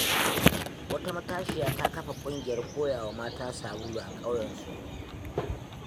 Wata matashiya ta kafa ƙungiyar koyawa mata sabulu a ƙauyensu.